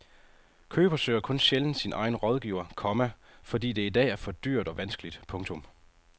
Køber søger kun sjældent sin egen rådgiver, komma fordi det i dag er for dyrt og vanskeligt. punktum